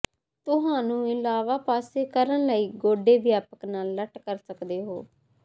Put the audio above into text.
ਤੁਹਾਨੂੰ ਇਲਾਵਾ ਪਾਸੇ ਕਰਨ ਲਈ ਗੋਡੇ ਵਿਆਪਕ ਨਾਲ ਲੱਟ ਕਰ ਸਕਦੇ ਹੋ